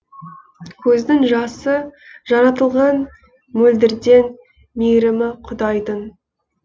көздің жасы жаратылған мөлдірден мейірімі құдайдың